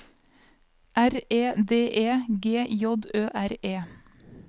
R E D E G J Ø R E